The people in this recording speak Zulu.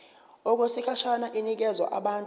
okwesikhashana inikezwa abantu